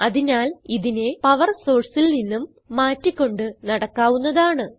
അതിനാൽ ഇതിനെ പവർ sourceൽ നിന്നും മാറ്റി കൊണ്ട് നടക്കാവുന്നതാണ്